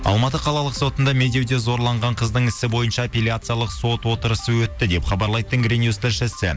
алматы қалалық сотында медеуде зорланған қыздың ісі бойынша апелияциялық сот отырысы өтті деп хабарлайды тенгринюс тілшісі